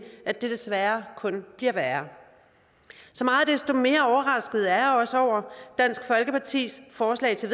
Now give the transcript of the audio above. at det desværre kun bliver værre så meget desto mere overrasket er jeg også over dansk folkepartis forslag til